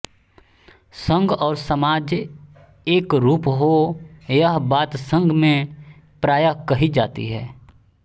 संघ और समाज एकरूप हो यह बात संघ में प्राय कही जाती है